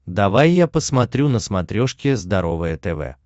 давай я посмотрю на смотрешке здоровое тв